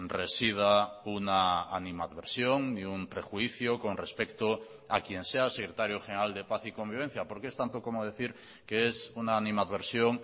resida una animadversión ni un prejuicio con respecto a quien sea secretario general de paz y convivencia porque es tanto como decir que es una animadversión